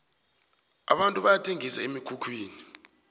abantu bayathengisa emikhukhwini